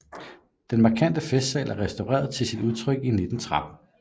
Den markante festsal er restaureret til sit udtryk i 1913